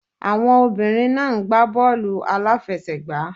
Àwọn obìnrin náà ń gbá bọ́ọ̀lù a lá fẹ sẹ̀ gbá.